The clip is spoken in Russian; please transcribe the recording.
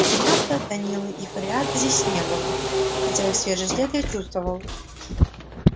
игната данилы и фарида здесь не было хотя их свежий след я чувствовал